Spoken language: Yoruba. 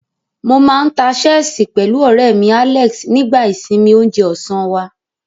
Mo máa ń ta ṣẹ́ẹ̀sì pẹ̀lú ọ̀rẹ́ mi, Alex, nígbà ìsinmi oúnjẹ ọ̀sán wá.